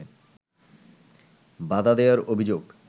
বাধা দেয়ার অভিযোগ